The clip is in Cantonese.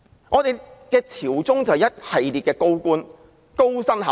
我們朝中有一系列高官，高薪厚祿。